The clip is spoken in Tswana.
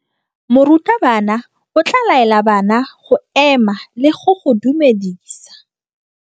Morutabana o tla laela bana go ema le go go dumedisa.